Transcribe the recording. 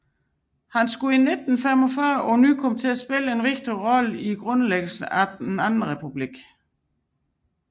Han skulle i 1945 på ny komme til at spille en vigtig rolle ved grundlæggelsen af den Anden Republik